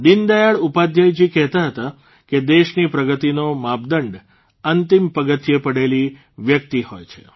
દીનદયાળ ઉપાધ્યાયજી કહેતા હતા કે દેશની પ્રગતિનો માપદંડ અંતિમ પગથિયે પડેલી વ્યક્તિ હોય છે